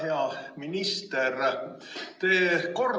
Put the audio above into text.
Hea minister!